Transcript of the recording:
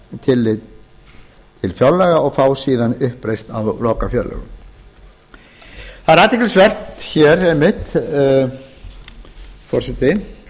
taka tillit til fjárlaga og fá síðan uppreisn æru í lokafjárlögum það er athyglisvert hér einmitt frú forseti